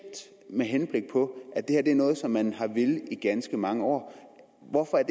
med henblik på at det her er noget som man har villet i ganske mange år hvorfor er